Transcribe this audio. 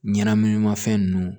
Ɲɛnaminimafɛn nunnu